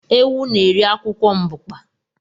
Ewu na-eri akwụkwọ mbukpa